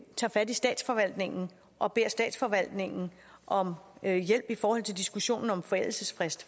tager fat i statsforvaltningen og beder statsforvaltningen om hjælp i forhold til diskussionen om forældelsesfrist